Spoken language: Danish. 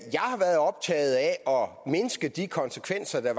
at mindske de konsekvenser der